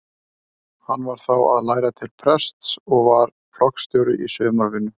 Hann var þá að læra til prests og var flokksstjóri í sumarvinnu.